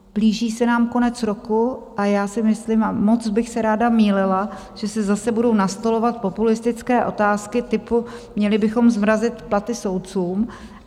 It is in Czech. Blíží se nám konec roku a já si myslím, a moc bych se ráda mýlila, že se zase budou nastolovat populistické otázky typu: měli bychom zmrazit platy soudcům.